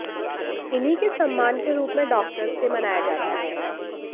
इन्हीं के सम्मान के रूप में डॉक्टर्स डे मनाया जाता है